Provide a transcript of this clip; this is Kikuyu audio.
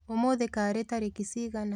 ũmũthĩ karĩ tarĩki cigana?